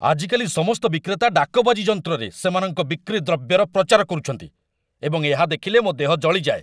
ଆଜିକାଲି ସମସ୍ତ ବିକ୍ରେତା ଡାକବାଜି ଯନ୍ତ୍ରରେ ସେମାନଙ୍କ ବିକ୍ରି ଦ୍ରବ୍ୟର ପ୍ରଚାର କରୁଛନ୍ତି, ଏବଂ ଏହା ଦେଖିଲେ ମୋ ଦେହ ଜଳିଯାଏ।